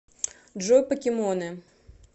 джой покемоны